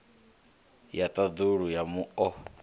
ya ḓafula ya mu o